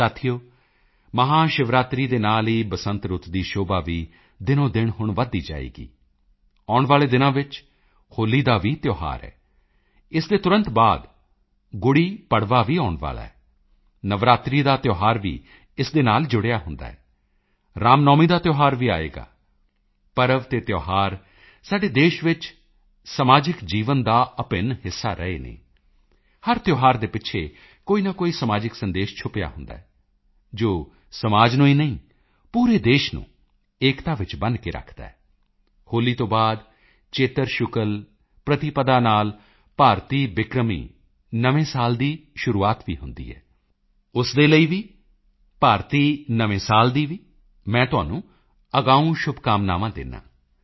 ਸਾਥੀਓ ਮਹਾਸ਼ਿਵਰਾਤਰੀ ਦੇ ਨਾਲ ਹੀ ਬਸੰਤ ਰੁੱਤ ਦੀ ਸ਼ੋਭਾ ਵੀ ਦਿਨੋਦਿਨ ਹੁਣ ਵੱਧਦੀ ਜਾਏਗੀ ਆਉਣ ਵਾਲੇ ਦਿਨਾਂ ਵਿੱਚ ਹੋਲੀ ਦਾ ਵੀ ਤਿਓਹਾਰ ਹੈ ਇਸ ਦੇ ਤੁਰੰਤ ਬਾਅਦ ਗੁੜੀਪੜਵਾ ਵੀ ਆਉਣ ਵਾਲਾ ਹੈ ਨਵਰਾਤਰੀ ਦਾ ਤਿਓਹਾਰ ਵੀ ਇਸ ਦੇ ਨਾਲ ਜੁੜਿਆ ਹੁੰਦਾ ਹੈ ਰਾਮਨੌਮੀ ਦਾ ਤਿਓਹਾਰ ਵੀ ਆਏਗਾ ਪਰਵ ਅਤੇ ਤਿਓਹਾਰ ਸਾਡੇ ਦੇਸ਼ ਵਿੱਚ ਸਮਾਜਿਕ ਜੀਵਨ ਦਾ ਅਭਿੰਨ ਹਿੱਸਾ ਰਹੇ ਹਨ ਹਰ ਤਿਓਹਾਰ ਦੇ ਪਿੱਛੇ ਕੋਈ ਨਾ ਕੋਈ ਸਮਾਜਿਕ ਸੰਦੇਸ਼ ਛੁਪਿਆ ਹੁੰਦਾ ਹੈ ਜੋ ਸਮਾਜ ਨੂੰ ਹੀ ਨਹੀਂ ਪੂਰੇ ਦੇਸ਼ ਨੂੰ ਏਕਤਾ ਵਿੱਚ ਬੰਨ੍ਹ ਕੇ ਰੱਖਦਾ ਹੈ ਹੋਲੀ ਤੋਂ ਬਾਅਦ ਚੇਤਰ ਸ਼ੁਕਲਪ੍ਰਤਿਪਦਾ ਨਾਲ ਭਾਰਤੀ ਬਿਕਰਮੀ ਨਵੇਂ ਸਾਲ ਦੀ ਸ਼ੁਰੂਆਤ ਵੀ ਹੁੰਦੀ ਹੈ ਉਸ ਦੇ ਲਈ ਵੀ ਭਾਰਤੀ ਨਵੇਂ ਸਾਲ ਦੀ ਵੀ ਮੈਂ ਤੁਹਾਨੂੰ ਅਗਾਊਂ ਸ਼ੁਭਕਾਮਨਾਵਾਂ ਦਿੰਦਾ ਹਾਂ